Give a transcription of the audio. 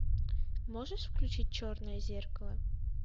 можешь включить черное зеркало